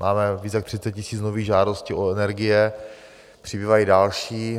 Máme více než 30 000 nových žádostí o energie, přibývají další.